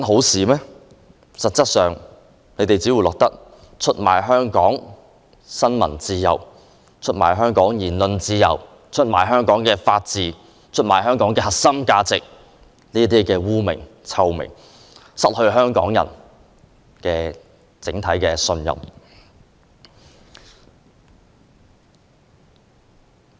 實際上，你們只會留下出賣香港新聞自由、言論自由、法治和核心價值的罵名，失去香港人的信任。